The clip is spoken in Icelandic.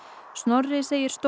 Snorri segir stóra